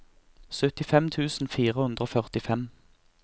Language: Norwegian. syttifem tusen fire hundre og førtifem